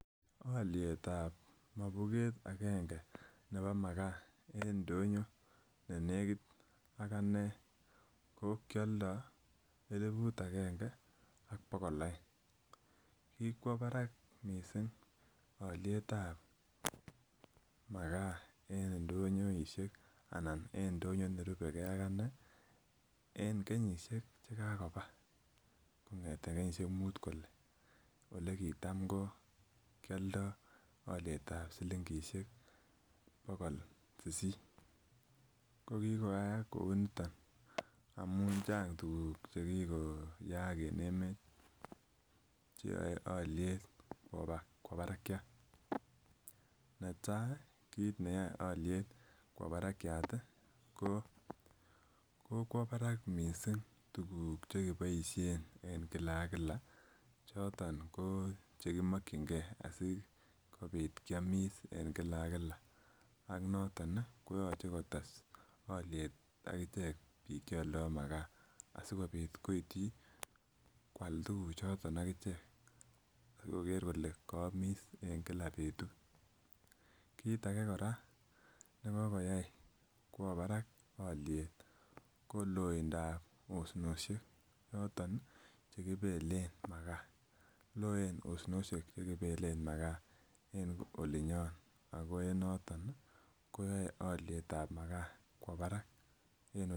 Olietab mobuget agenge nebo makaa en ndonyo ne nekit ak anee ko kioldoo eliput agenge ak bokol oeng, kikwo barak missing olietab makaa en ndonyoisiek anan en ndonyo nerubegee ak anee en kenyisiek chekakoba kong'eten kenyisiek mut kole elekitam ko kioldoo olietab silingisiek bokol sisit. Ko kikoyaak kouniton amun changa tuguk chekikoyaak en emet cheyoe oliet koba barakiat. Netai kit neyoe oliet kwo barakiat ih ko kokwo barak missing tuguk chekiboisien en kila ak kila choton ko chekimokyingee asikobit kiomis en kila ak kila ak noton ih koyoche kotes oliet ak ichek biik cheoldoo makaa asikobit koityi koal tuguk choton ak ichek ak koker kole koomis en kila betut. Kit age kora nekokoyai kwo barak oliet ko loindap osnosiek yoton chekibelen makaa, loen osnosiek chekebelen makaa en olinyon ako en noton ih koyoe olietab makaa kwo barak en